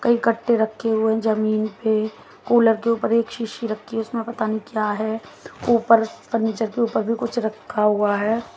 कई कट्टे रखे हुए जमीन पे कूलर के ऊपर एक सीसी रखी है उसमें पता नहीं क्या है। ऊपर फर्नीचर के ऊपर भी कुछ रखा हुआ है।